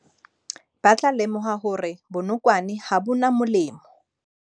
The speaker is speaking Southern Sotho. Ba tla lemoha hore bonokwane ha bo na molemo.